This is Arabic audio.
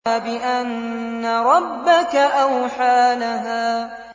بِأَنَّ رَبَّكَ أَوْحَىٰ لَهَا